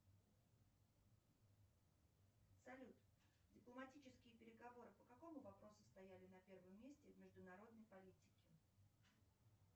салют дипломатические переговоры по какому вопросу стояли на первом месте в международной политике